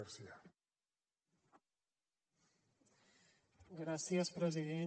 gràcies president